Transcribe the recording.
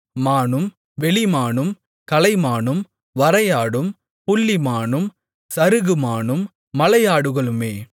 மானும் வெளிமானும் கலைமானும் வரையாடும் புள்ளிமானும் சருகுமானும் மலை ஆடுகளுமே